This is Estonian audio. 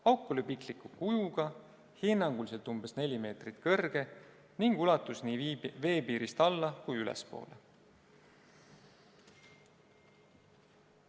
Auk oli pikliku kujuga, hinnanguliselt umbes neli meetrit kõrge ning ulatus veepiirist nii alla- kui ka ülespoole.